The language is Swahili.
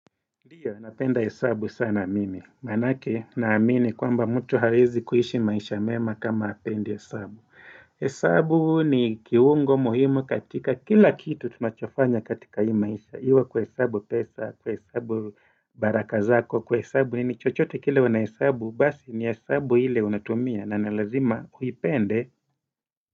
Ndio, napenda hesabu sana mimi. Manake, naamini kwamba mtu haweeezi kuishi maisha mema kama hapendi hesabu. Hesabu ni kiungo muhimu katika, kila kitu tunachofanya katika hii maisha. Ikiwa kuhesabu pesa, kuhesabu baraka zako, kuhesabu nini chochote kile unhesabu, basi ni hesabu ile unatumia na ni lazima uipende.